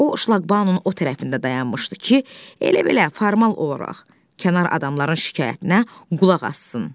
O şlaqbaunun o tərəfində dayanmışdı ki, elə belə formal olaraq kənar adamların şikayətinə qulaq assın.